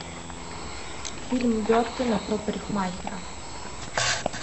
фильм бертона про парикмахера